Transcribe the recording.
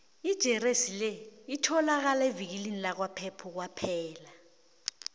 ijeresi le itholakala evikilini lakwapep kwaphela